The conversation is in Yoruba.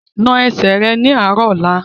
Na ẹsẹ̀ rẹ ní àárọ̀ ọ̀la!